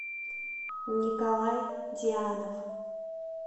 николай дианов